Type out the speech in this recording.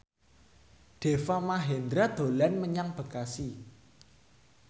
Deva Mahendra dolan menyang Bekasi